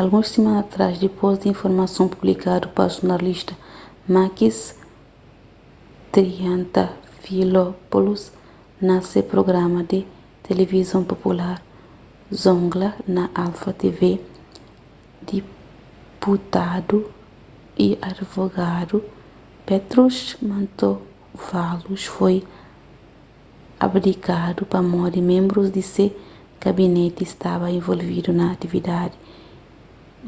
alguns simana atrás dipôs di informason publikadu pa jornalista makis triantafylopoulos na se prugrama di tilivizon popular zoungla na alpha tv diputadu y adivogadu petros mantouvalos foi abdikadu pamodi ménbrus di se gabineti staba involvidu na atividadi